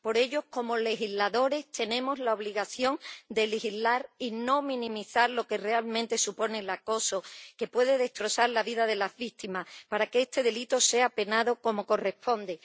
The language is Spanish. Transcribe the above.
Por ello, como legisladores, tenemos la obligación de legislar y no minimizar lo que realmente supone el acoso, que puede destrozar la vida de las víctimas, para que este delito sea penado como corresponde.